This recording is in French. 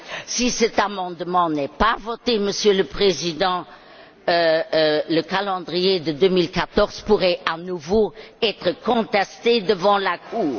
Si cet amendement n'est pas voté, Monsieur le Président, le calendrier de 2014 pourrait à nouveau être contesté devant la Cour.